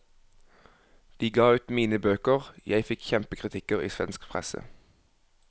De ga ut mine bøker, jeg fikk kjempekritikker i svensk presse.